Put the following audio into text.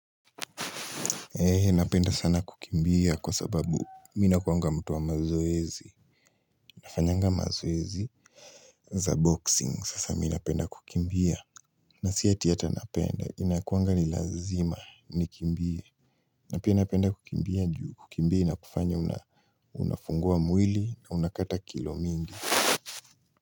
Napenda sana kukimbia kwa sababu mimi nakuanga mtu wa mazoezi, nafanyanga mazoezi za boxing. Sasa minapenda kukimbia. Na si hata napenda. Inakuanga ni lazima nikimbie. Na pia napenda kukimbia juu kukimbia inakufanya unafungua mwili na unakata kilo mingi.